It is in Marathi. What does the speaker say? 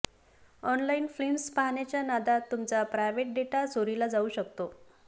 ऑनलाइन फिल्म्स पाहण्याच्या नादात तुमचा प्रायव्हेट डेटा चोरीला जाऊ शकतो